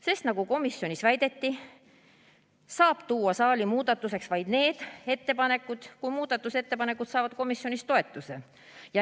Sest nagu komisjonis väideti, saab tuua saali vaid need muudatusettepanekud, mis saavad komisjonis toetuse.